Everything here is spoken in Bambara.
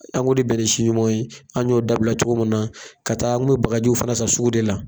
An kun ti bɛn ni si ɲuman an y'o dabila cogo min na ka taa ngo bakaji fana san sugu de la.